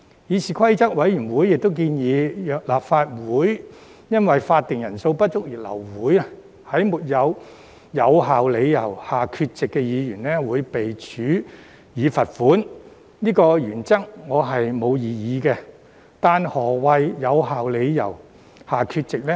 議事規則委員會亦建議，若立法會因法定人數不足而流會，在沒有有效理由下缺席的議員會被處以罰款，對於這項原則，我沒有異議，但何謂在"有效理由"下缺席呢？